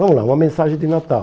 Vamos lá, uma mensagem de Natal.